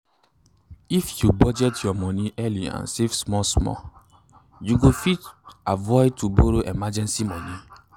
if you budget your moni early and save small small you go fit avoid to borro emergency moni